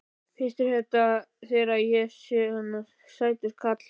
Finnst þér ég svona sætur karl já.